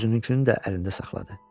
Özününkünü də əlində saxladı.